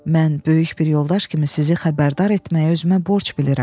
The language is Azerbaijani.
Mən böyük bir yoldaş kimi sizi xəbərdar etməyi özümə borc bilirəm.